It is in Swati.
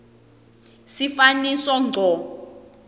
sifaniso ngco